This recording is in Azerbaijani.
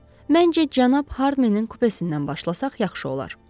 Məncə cənab Harmenin kupesindən başlasaq yaxşı olar.